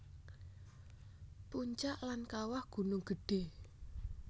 Puncak lan Kawah Gunung Gedhé